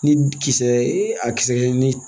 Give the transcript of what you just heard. Ni kisɛ e a kisɛ ni